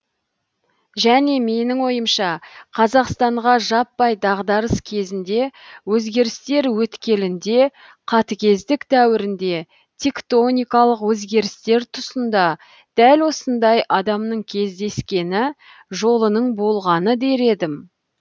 және менің ойымша қазақстанға жаппай дағдарыс кезінде өзгерістер өткелінде қатыгездік дәуірінде тектоникалық өзгерістер тұсында дәл осындай адамның кездескені жолының болғаны дер едім